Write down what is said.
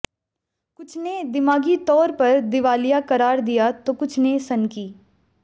कुछ ने दिमागी तौर पर दिवालिया करार दिया तो कुछ ने सनकी